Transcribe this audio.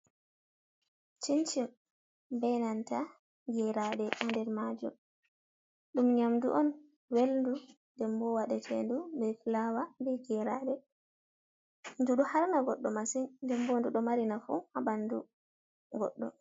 Cincin be nanta geraɗe ha nder majum. Ɗum nyamdu on velndu nden bo waɗete ndu be filawa be geraɗe, ndu ɗo harna goɗɗo masin. Nden bo ndu ɗo mari nafu ha ɓandu goɗɗo.